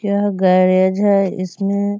क्या गैरेज है इसमें ?